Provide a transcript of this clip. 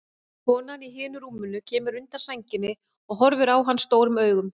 Konan í hinu rúminu kemur undan sænginni og horfir á hann stórum augum.